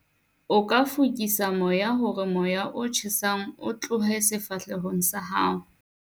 o ka fokisa moya hore moya o tjhesang o tlohe sefahlehong sa hao